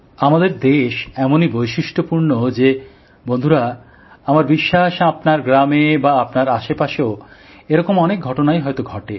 আমাদের দেশ এমনই বৈশিষ্ট্যপূর্ণ যে বন্ধুরা আমার বিশ্বাস আপনার গ্রামে বা আপনার আশেপাশেও এরকম অনেক ঘটনাই হয়তো ঘটে